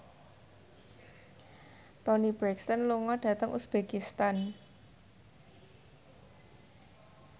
Toni Brexton lunga dhateng uzbekistan